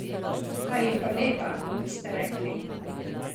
Ta je pa lepa, boste rekli.